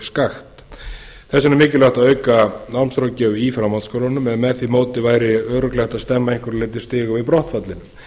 vegna er mikilvægt að auka námsráðgjöf í framhaldsskólunum en með því móti væri hægt að stemma að einhverju leyti stigu við brottfallinu